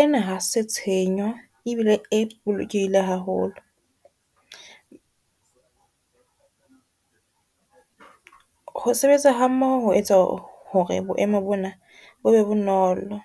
Ena ha se tshenyo ebile e bolokehile haholo ho sebetsa ha mmoho ho etsa hore boemo bona bo be bonolo.